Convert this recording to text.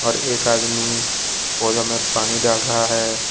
एक आदमी पौधा में पानी डाल रहा है।